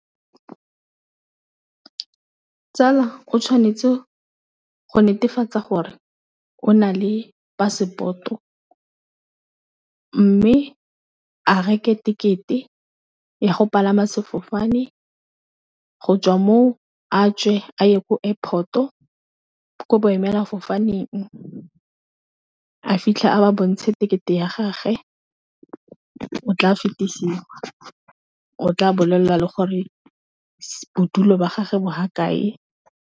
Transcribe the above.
Tsala o tshwanetse go netefatsa gore o na le passport-o, mme a reke ticket-e ya go palama sefofane go tswa mo a tswe a ye ko airport-o, ko boemela fofaneng a fitlhe a ba bontshe tekete ya gagwe o tla fetisiwa o tla bolelela le gore bodulo ba gage bo ha kae.